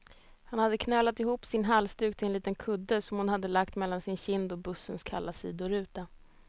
Hon hade knölat ihop sin halsduk till en liten kudde, som hon hade lagt mellan sin kind och bussens kalla sidoruta.